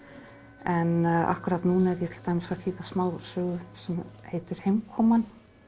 en akkúrat núna er ég til dæmis að þýða smásögu sem heitir heimkoman